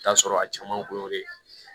I bi taa sɔrɔ a caman kun y'o de ye